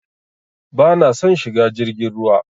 Bana son shiga jirgin ruwa.